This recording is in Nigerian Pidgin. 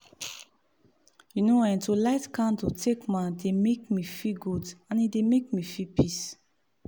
you know[um]to light candle takema dey make me feel good and e dey make me feel peace